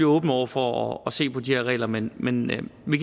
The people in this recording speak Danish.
åben over for at se på de her regler men men vi kan